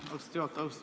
Aitäh, austatud juhataja!